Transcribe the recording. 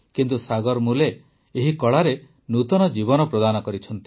କିନ୍ତୁ ସାଗର ମୁଲେ ଜୀ ଏହି କଳାରେ ନୂତନ ଜୀବନ ପ୍ରଦାନ କରିଛନ୍ତି